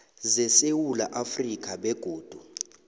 zesewula afrika begodu